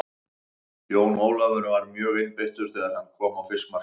Jón Ólafur var mjögeinbeittur þegar hann kom á fiskmarkaðinn.